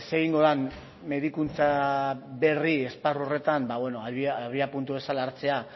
egingo den medikuntza berri esparru horretan abiapuntu bezala hartzea